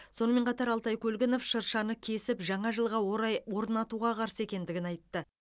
сонымен қатар алтай көлгінов шыршаны кесіп жаңа жылға орай орнатуға қарсы екендігін айтты